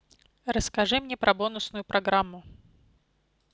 расскажи мне про бонусную программу